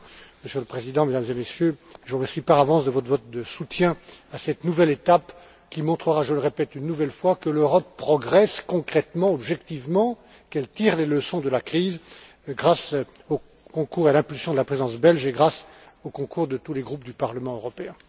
Monsieur le Président, Mesdames et Messieurs, je vous remercie par avance de votre vote de soutien à cette nouvelle étape qui montrera, je le répète une nouvelle fois, que l'Europe progresse concrètement, objectivement, qu'elle tire les leçons de la crise, grâce au concours et à l'impulsion de la Présidence belge et grâce au concours de tous les groupes du Parlement européen.